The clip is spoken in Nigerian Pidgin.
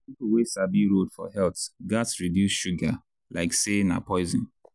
people wey sabi road for health gats reduce sugar like say na poison.